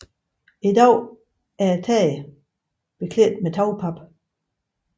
I dag er taget beklædt med tagpap